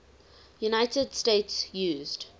united states used